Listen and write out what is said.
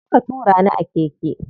Zo ka tura ni a keke.